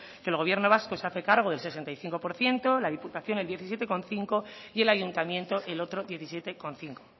que el gobierno vasco se hace cargo del sesenta y cinco por ciento la diputación del diecisiete coma cinco y el ayuntamiento el otro diecisiete coma cinco